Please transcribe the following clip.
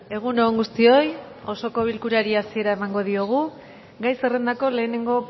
egun on guztioi osoko bilkurari hasiera emango diogu gai zerrendako lehenengo